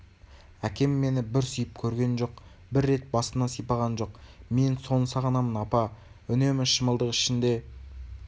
әкем мені бір сүйіп көрген жоқ бір рет басымнан сипаған жоқ мен соны сағынамын апа үнемі шымылдық ішінде